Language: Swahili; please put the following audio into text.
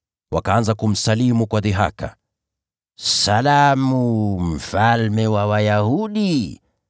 Wakaanza kumsalimu kwa dhihaka, “Salamu, mfalme wa Wayahudi!”